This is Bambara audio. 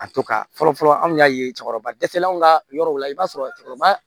A to ka fɔlɔ fɔlɔ anw y'a ye cɛkɔrɔba dɛsɛlenw ka yɔrɔ la i b'a sɔrɔ cɛkɔrɔba